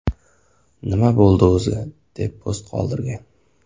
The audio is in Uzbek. Nima bo‘ldi o‘zi?” deb post qoldirgan.